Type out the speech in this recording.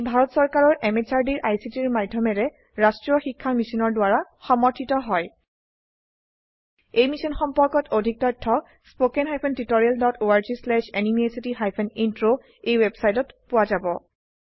ই ভাৰত চৰকাৰৰ MHRDৰ ICTৰ মাধয়মেৰে ৰাস্ত্ৰীয় শিক্ষা মিছনৰ দ্ৱাৰা সমৰ্থিত হয় ই মিশ্যন সম্পৰ্কত অধিক তথ্য spoken hyphen tutorial dot org slash NMEICT hyphen intro ৱেবচাইটত পোৱা যাব